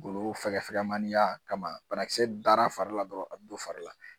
Golo fɛgɛfɛgɛmaniya kama banakisɛ dar'a fari la dɔrɔn a bɛ don fari la